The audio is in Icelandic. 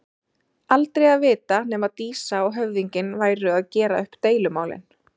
Aldrei að vita nema Dísa og höfðinginn væru að gera upp deilumálin.